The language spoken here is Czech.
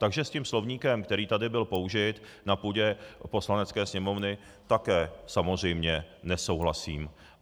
Takže s tím slovníkem, který tady byl použit na půdě Poslanecké sněmovny, také samozřejmě nesouhlasím.